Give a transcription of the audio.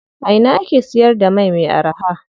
A ina ake siyar da mai me araha?